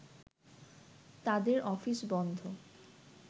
তাদের অফিস বন্ধ